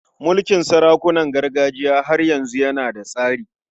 Mulkin sarakunan gargajiya har yanzu yana da tsari.